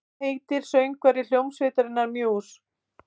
Hvað heitir söngvari hljómsveitarinnar Muse?